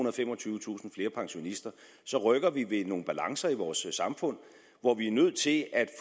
og femogtyvetusind flere pensionister så rykker ved nogle balancer i vores samfund hvor vi er nødt til at